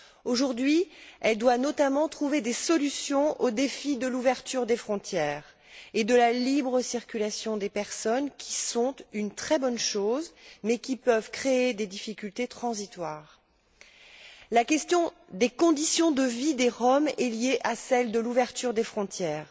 Aujourd'hui, elle doit notamment trouver des solutions aux défis de l'ouverture des frontières et de la libre circulation des personnes, qui sont une très bonne chose mais qui peuvent créer des difficultés transitoires. La question des conditions de vie des Roms est liée à celle de l'ouverture des frontières.